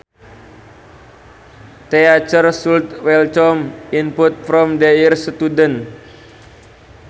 Teachers should welcome input from their students